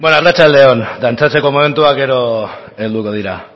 nahikoa benga segi banoa beno arratsalde on dantzatzeko momentua gero helduko da